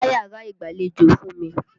Gbá yàrá ìgbàlejò fún mi!